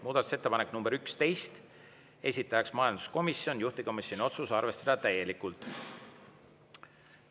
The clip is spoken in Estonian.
Muudatusettepanek nr 11, esitaja majanduskomisjon, juhtivkomisjoni otsus: arvestada täielikult.